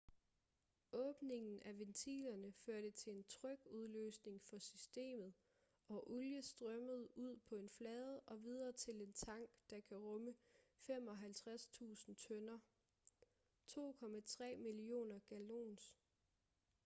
åbningen af ventilerne førte til en trykudløsning for systemet og olie strømmede ud på en flade og videre til en tank der kan rumme 55.000 tønder 2,3 millioner gallons